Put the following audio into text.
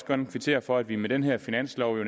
gerne kvittere for at vi med den her finanslov